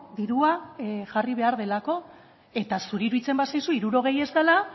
dirua jarri behar delako eta zuri iruditzen bazaizu hirurogei ez dela